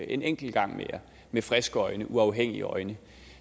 en enkelt gang mere med friske øjne med uafhængige øjne